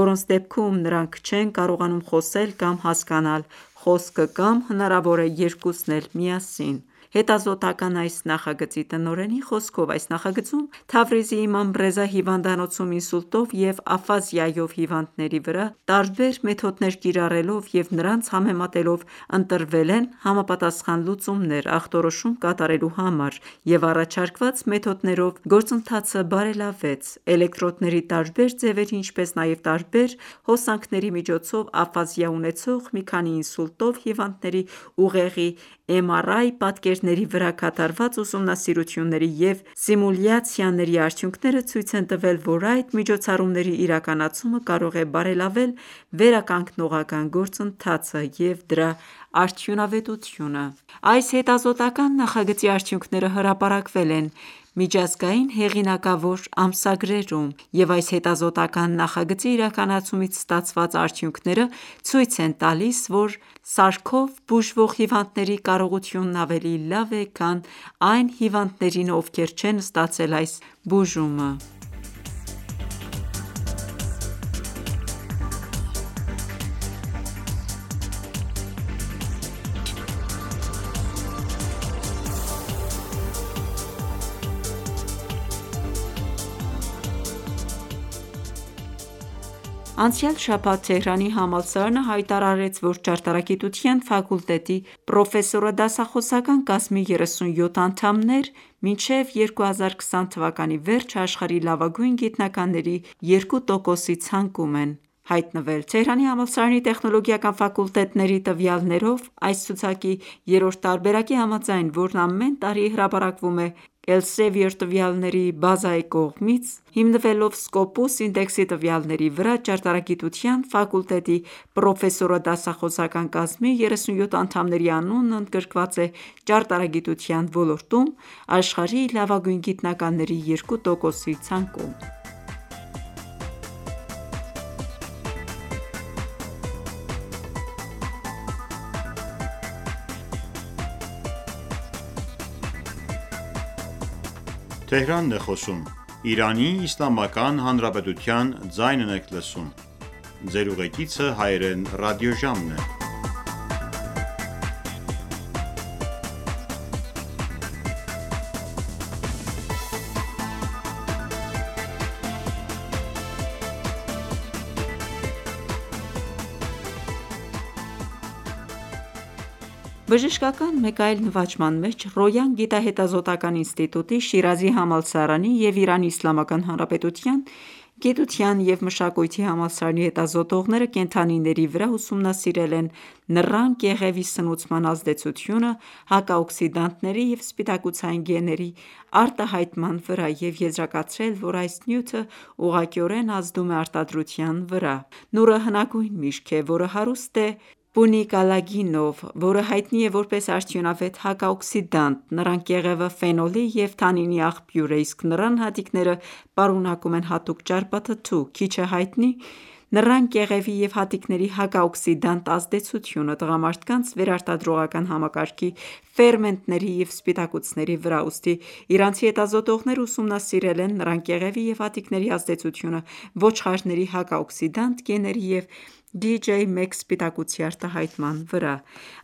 որոնց դեպքում նրանք չեն կարողանում խոսել կամ հասկանալ խոսքը, կամ հնարավոր է երկուսն էլ միասին: Հետազոտական այս ​​նախագծի տնօրենի խոսքով, այս նախագծում Թավրիզի Իմամ Ռեզա հիվանդանոցում ինսուլտով և աֆազիայով հիվանդների վրա տարբեր մեթոդներ կիրառելով և նրանց համեմատելով՝ ընտրվել են համապատասխան լուծումներ՝ ախտորոշում կատարելու համար և առաջարկված մեթոդներով գործընթացը բարելավեց: Էլեկտրոդների տարբեր ձևերի, ինչպես նաև տարբեր հոսանքների միջոցով աֆազիա ունեցող մի քանի ինսուլտով հիվանդների ուղեղի MRI պատկերների վրա կատարված ուսումնասիրությունների և սիմուլյացիաների արդյունքները ցույց են տվել, որ այդ միջոցառումների իրականացումը կարող է բարելավել վերականգնողական գործընթացը և դրա արդյունավետությունը: Այս հետազոտական ​​նախագծի արդյունքները հրապարակվել են միջազգային հեղինակավոր ամսագրերում, և այս հետազոտական ​​նախագծի իրականացումից ստացված արդյունքները ցույց են տալիս, որ սարքով բուժվող հիվանդների կարողությունն ավելի լավն է, քան այն հիվանդներինը, ովքեր չեն ստացել այս բուժումը: Կաթվածով հիվանդների խոսքի խանգարումների ճանաչողական վերականգնում Անցյալ շաբաթ Թեհրանի համալսարանը հայտարարեց, որ ճարտարագիտության ֆակուլտետի պրոֆեսորադասախոսական կազմի 37 անդամներ մինչև 2020 թվականի վերջը աշխարհի լավագույն գիտնականների 2%-ի ցանկում են հայտնվել: Թեհրանի համալսարանի տեխնոլոգիական ֆակուլտետների տվյալներով, այս ցուցակի երրորդ տարբերակի համաձայն, որն ամեն տարի հրապարակվում է Elsevier տվյալների բազայի կողմից՝ հիմնվելով Scopus ինդեքսի տվյալների վրա, ճարտարագիտության ֆակուլտետի պրոֆեսորադասախոսական կազմի 37 անդամների անունն ընդգրկված է ճարտարագիտության ոլորտում աշխարհի լավագույն գիտնականների 2%-ի ցանկում: Ճարտարագիտության ֆակուլտետի պրոֆեսորադասախոսական կազմի 37 անդամներ մինչև 2020 թվականի վերջը հայտնվել են աշխարհի լավագույն գիտնականների 2%-ի ցանկում Բժշկական մեկ այլ նվաճման մեջ, Ռոյան գիտահետազոտական ​​ինստիտուտի, Շիրազի համալսարանի և Իրանի Իսլամական Հանրապետության գիտության և մշակույթի համալսարանի հետազոտողները կենդանիների վրա ուսումնասիրել են նռան կեղևի սնուցման ազդեցությունը հակաօքսիդանտների և սպիտակուցային գեների արտահայտման վրա և եզրակացրել որ այս նյութը ուղղակիորեն ազդում է արտադրության վրա:Նուռը հնագույն միրգ է, որը հարուստ է պունիկալագինով, որը հայտնի է որպես արդյունավետ հակաօքսիդանտ։ Նռան կեղևը ֆենոլի և թանինի աղբյուր է, իսկ նռան հատիկները պարունակում են հատուկ ճարպաթթու: Քիչ է հայտնի նռան կեղևի և հատիկների հակաօքսիդանտ ազդեցությունը տղամարդկանց վերարտադրողական համակարգի ֆերմենտների և սպիտակուցների վրա։ Ուստի իրանցի հետազոտողները ուսումնասիրել են նռան կեղևի և հատիկների ազդեցությունը ոչխարների հակաօքսիդանտ գեների և DJ-1 սպիտակուցի արտահայտման վրա։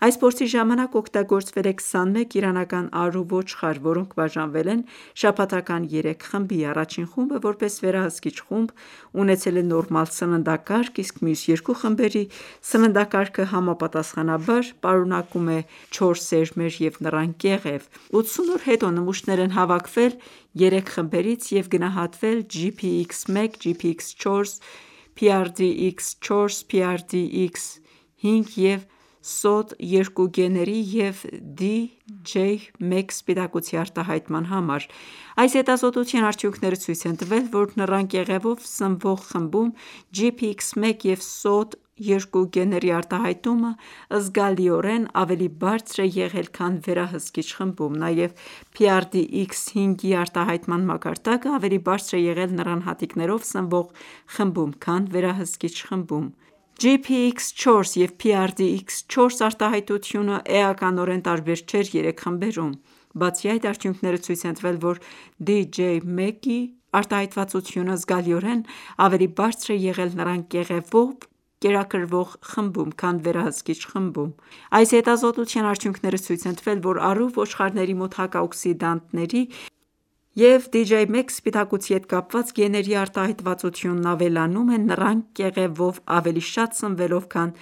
Այս փորձի ժամանակ օգտագործվել է 21 իրանական արու ոչխար, որոնք բաժանվել են շաբաթական երեք խմբի, առաջին խումբը՝ որպես վերահսկիչ խումբ, ունեցել է նորմալ սննդակարգ, իսկ մյուս երկու խմբերի սննդակարգը համապատասխանաբար պարունակում է չոր սերմեր և նռան կեղև։ 80 օր հետո նմուշներ են հավաքվել երեք խմբերից և գնահատվել Gpx1, Gpx4, Prdx4, Prdx5 և Sod2 գեների և DJ-1 սպիտակուցի արտահայտման համար: Այս հետազոտության արդյունքները ցույց են տվել, որ նռան կեղևով սնվող խմբում Gpx1 և Sod2 գեների արտահայտումն զգալիորեն ավելի բարձր է եղել, քան վերահսկիչ խմբում: Նաև Prdx5-ի արտահայտման մակարդակն ավելի բարձր է եղել նռան հատիկներով սնվող խմբում, քան վերահսկիչ խմբում: Gpx4 և Prdx4 արտահայտությունը էականորեն տարբեր չէր երեք խմբերում: Բացի այդ, արդյունքները ցույց են տվել, որ DJ-1-ի արտահայտվածությունը զգալիորեն ավելի բարձր է եղել նռան կեղևով կերակրվող խմբում, քան վերահսկիչ խմբում: Այս հետազոտության արդյունքները ցույց են տվել, որ արու ոչխարների մոտ հակաօքսիդանտների և DJ-1 սպիտակուցի հետ կապված գեների արտահայտվածությունն ավելանում է՝ նռան կեղևով ավելի շատ սնվելով, քան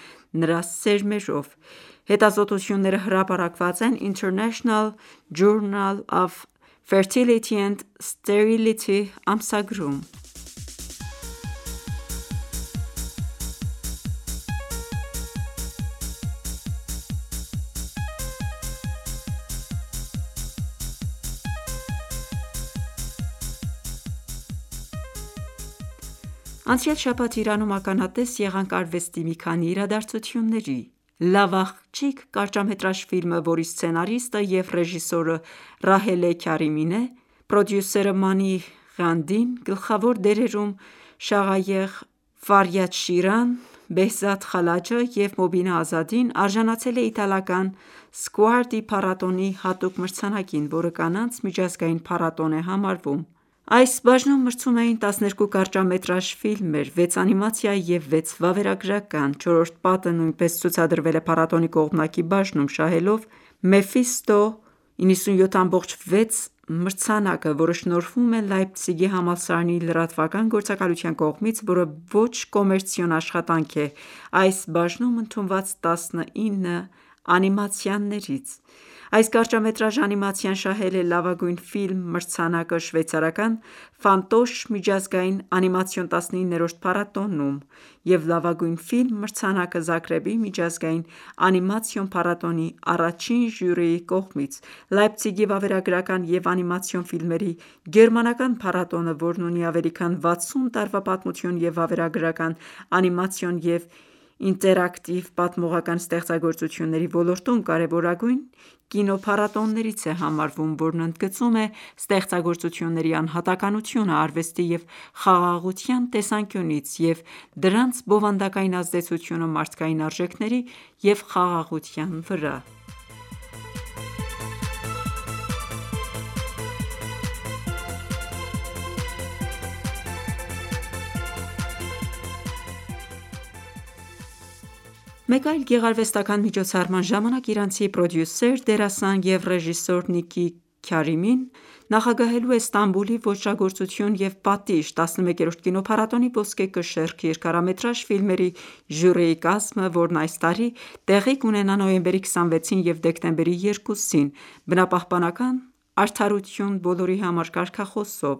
նրա սերմերով: Հետազոտությունները հրապարակված են International Journal of Fertility and Sterility ամսագրում: Նռան կեղևով և հատիկներով սնվելու ազդեցությունը վերարտադրության վրա Անցյալ շաբաթ Իրանում ականատես եղանք արվեստի մի քանի իրադարձությունների։ «Լավ աղջիկ» կարճամետրաժ ֆիլմը, որի սցենարիստը և ռեժիսորը Ռահելե Քարամին է, պրոդյուսերը՝ Մանի Ղանդին, գլխավոր դերերում՝ Շաղայեղ Ֆարյադշիրան, Բեհզադ Խալաջը և Մոբինա Ազադին, արժանացել է իտալական Scuardi փառատոնի հատուկ մրցանակին, որը Կանանց միջազգային փառատոն է համարվում։ Այս բաժնում մրցում էին 12 կարճամետրաժ ֆիլմեր (6 անիմացիա և 6 վավերագրական)։ «Չորրորդ պատը» նույնպես ցուցադրվել է փառատոնի կողմնակի բաժնում՝ շահելով Mephisto 97.6 մրցանակը, որը շնորհվում է Լայպցիգի համալսարանի լրատվական գործակալության կողմից, որը ոչ կոմերցիոն աշխատանք է, այս բաժնում ընդունված 19 անիմացիաներից։ Այս կարճամետրաժ անիմացիան շահել է «Լավագույն ֆիլմ» մրցանակը շվեյցարական միջազգային անիմացիոն 19-րդ փառատոնում և «Լավագույն ֆիլմ» մրցանակը՝ Զագրեբի միջազգային անիմացիոն փառատոնի առաջին ժյուրիի կողմից: Լայպցիգի վավերագրական և անիմացիոն ֆիլմերի գերմանական փառատոնը, որն ունի ավելի քան վաթսուն տարվա պատմություն, և վավերագրական, անիմացիոն և ինտերակտիվ պատմողական ստեղծագործությունների ոլորտում կարևորագույն կինոփառատոններից է համարվում, որն ընդգծում է ստեղծագործությունների անհատականությունը արվեստի և խաղաղության տեսանկյունից և դրանց բովանդակային ազդեցությունը մարդկային արժեքների և խաղաղության վրա: «Չորրորդ պատը» անիմացիայի հաջողությունը «Լայպցիգ»-ի փառատոնում Մեկ այլ գեղարվեստական ​​միջոցառման ժամանակ իրանցի պրոդյուսեր, դերասան և ռեժիսոր Նիկի Քարիմին նախագահելու է Ստամբուլի «Ոճրագործություն և պատիժ» 11-րդ կինոփառատոնի «Ոսկե կշեռք» երկարամետրաժ ֆիլմերի ժյուրիի կազմը, որն այս տարի տեղի կունենա նոյեմբերի 26-ին և դեկտեմբերի 2-ին՝ «Բնապահպանական արդարություն բոլորի համար» կարգախոսով։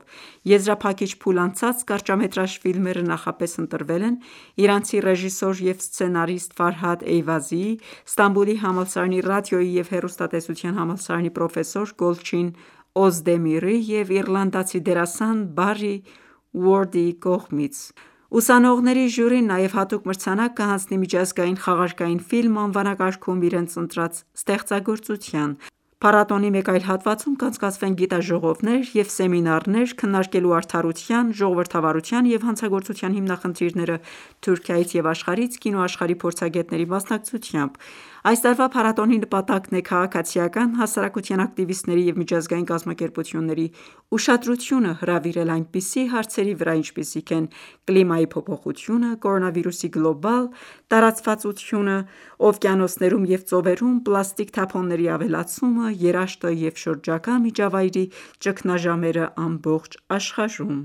Եզրափակիչ փուլ անցած կարճամետրաժ ֆիլմերը նախապես ընտրվել են իրանցի ռեժիսոր և սցենարիստ Էյվազիի, Ստամբուլի համալսարանի ռադիոյի և հեռուստատեսության համալսարանի պրոֆեսոր Գոլչին Օզդեմիրի և իռլանդացի դերասան Բարրի Ուորդի կողմից: Ուսանողների ժյուրին նաև հատուկ մրցանակ կհանձնի միջազգային խաղարկային ֆիլմ անվանակարգում իրենց ընտրած ստեղծագործության: Փառատոնի մեկ այլ հատվածում կանցկացվեն գիտաժողովներ և սեմինարներ՝ քննարկելու արդարության, ժողովրդավարության և հանցագործության հիմնախնդիրները՝ Թուրքիայից և աշխարհից կինոաշխարհի փորձագետների մասնակցությամբ։ Այս տարվա փառատոնի նպատակն է քաղաքացիական հասարակության ակտիվիստների և միջազգային կազմակերպությունների ուշադրությունը հրավիրել այնպիսի հարցերի վրա, ինչպիսիք են կլիմայի փոփոխությունը, կորոնավիրուսի գլոբալ տարածվածությունը, օվկիանոսներում և ծովերում պլաստիկ թափոնների ավելացումը, երաշտը և շրջակա միջավայրի ճգնաժամերը ամբողջ աշխարհում: